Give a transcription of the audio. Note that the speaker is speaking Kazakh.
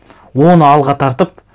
оны алға тартып